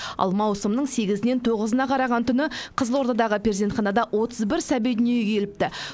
ал маусымның сегізінен тоғызына қараған түні қызылордадағы перзентханада отыз бір сәби дүниеге келіпті